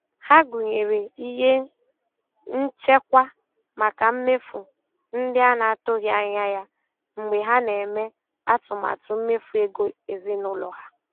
Ha gụnyere ihe nchekwa maka mmefu ndị a na-atụghị anya ya mgbe ha na-eme atụmatụ mmefu ego ezinụlọ ha.